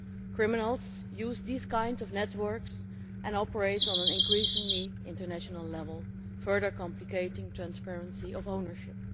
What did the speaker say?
Criminals use such networks and operate on an increasingly international level, further complicating transparency of ownership.